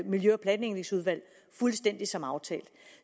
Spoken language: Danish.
miljø og planlægningsudvalg fuldstændig som aftalt